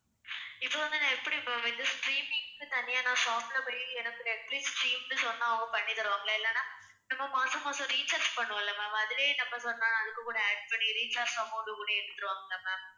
இப்ப வந்து நான் எப்படி ma'am இந்த streaming க்கு தனியா நான் shop ல போய் எனக்கு நெட்பிலிஸ் stream ன்னு சொன்னா அவங்க பண்ணித் தருவாங்களா இல்லன்னா நம்ம மாசாமாசம் recharge பண்ணுவோம்ல ma'am அதுலயே நம்ம சொன்னா அதுக்கு கூட add பண்ணி recharge amount கூட ஏத்தித்தருவாங்களா ma'am?